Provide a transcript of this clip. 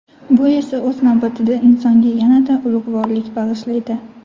Bu esa, o‘z navbatida, insonga yanada ulug‘vorlik bag‘ishlaydi.